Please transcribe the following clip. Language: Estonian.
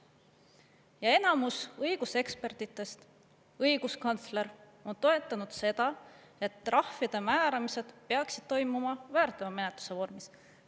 Ja enamus õigusekspertidest, ka õiguskantsler on toetanud seda, et trahvide määramised peaksid toimuma väärteomenetluse vormis.